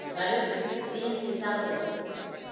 na le sebete sa go